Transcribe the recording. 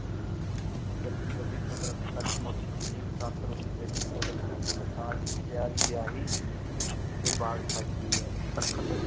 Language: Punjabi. ਸੱਜੀ ਫਬੀ ਕੁਦਰਤ ਸੱਚ ਮੁਚ ਹੀ ਬਸੰਤ ਰੁੱਤ ਵਿੱਚ ਕੁਦਰਤ ਇੱਕ ਸਾਜ ਪਿਆਰੀ ਵਿਆਹੀ ਸਜਦੀ ਹੈ ਦਰਖਤ